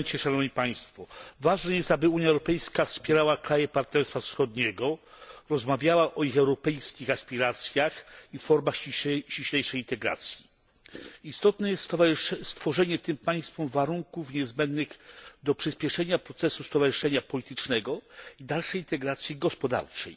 Panie Przewodniczący! Ważne jest, aby Unia Europejska wspierała kraje Partnerstwa Wschodniego, rozmawiała o ich europejskich aspiracjach i formach ściślejszej integracji. Istotne jest stworzenie tym państwom warunków niezbędnych do przyspieszenia procesu stowarzyszenia politycznego i dalszej integracji gospodarczej